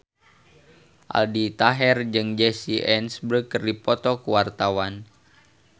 Aldi Taher jeung Jesse Eisenberg keur dipoto ku wartawan